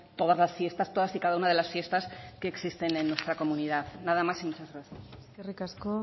todas las fiestas todas y cada una de las fiestas que existen en nuestra comunidad nada más y muchas gracias eskerrik asko